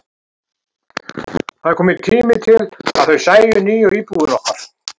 Það var kominn tími til að þau sæju nýju íbúðina okkar.